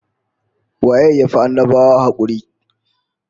Waye ya fi annabawa hakuri?